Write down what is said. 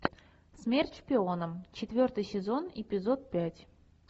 смерть шпионам четвертый сезон эпизод пять